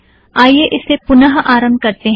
आईये इसे पुन आरम्भ करतें हैं